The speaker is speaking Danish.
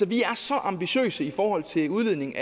vi er så ambitiøse i forhold til udledning